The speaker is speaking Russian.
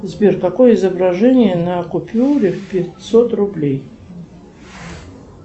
сбер какое изображение на купюре пятьсот рублей